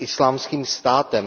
Islámským státem.